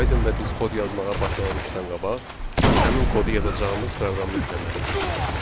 Python-da biz kod yazmağa başlamamışdan qabaq, həmin kodu yazacağımız proqramı yükləməliyik.